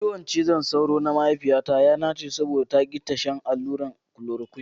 Ciwon cizon sauro na mahaifiyata ya nache saboda ta ki shan allurar kolorokuine.